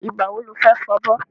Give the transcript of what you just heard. Ìgbà wo lo fẹ́ fọbọ́?